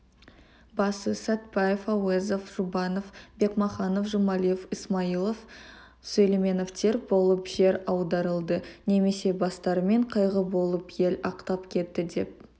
басы сәтбаев әуезов жұбанов бекмаханов жұмалиев ысмайылов сүлейменовтер болып жер аударылды немесе бастарымен қайғы болып ел ақтап кетті деп